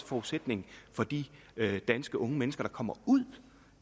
forudsætningen for de danske unge mennesker der kommer ud